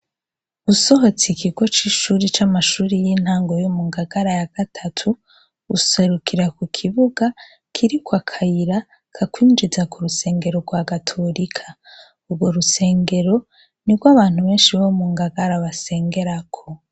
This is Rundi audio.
Usohotse ikigo c'ishure c'amashuri y'intango yo mu Ngagara ya gatatu, userukira kukibuga kiriko akayira kakwinjiza mu Rusengero rwa Gatorika. Urwo rusengero nirwo abantu banshi bo mu Ngagara basengerako.